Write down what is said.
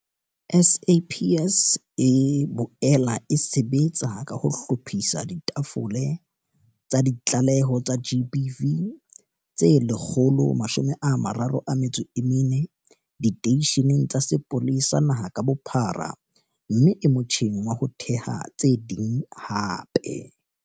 SAPS e boela e sebetsa ka ho hlophisa ditafole tsa ditlaleho tsa GBV tse 134 diteisheneng tsa sepolesa naha ka bophara mme e motjheng wa ho theha tse ding hape.